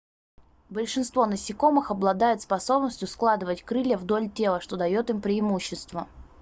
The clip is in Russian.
большинство насекомых обладают способностью складывать крылья вдоль тела что дает им преимущество